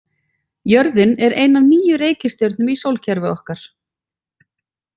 Jörðin er ein af níu reikistjörnum í sólkerfi okkar.